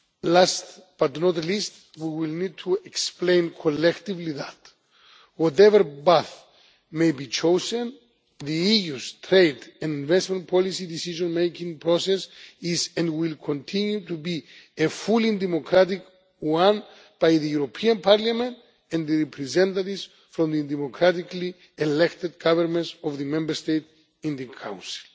Last but not least, we will need to explain collectively that, whatever path may be chosen, the EU's trade and investment policy decision making process is, and will continue to be, a fully democratic one by the European Parliament and the representatives from the democratically elected governments of the Member States in the Council.